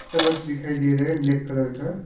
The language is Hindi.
चम्मच दिखाई दे रहा है ब्लैक कलर का।